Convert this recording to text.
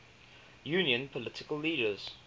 union political leaders